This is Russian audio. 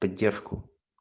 поддержку